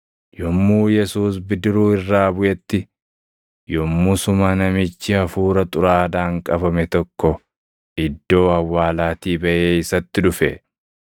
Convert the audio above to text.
Yommuu Yesuus bidiruu irraa buʼetti, yommusuma namichi hafuura xuraaʼaadhaan qabame tokko iddoo awwaalaatii baʼee isatti dhufe.